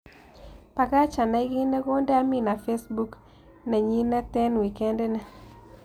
Bagach anai kiit ne konde amina facebook nenyineteng' wikendit ini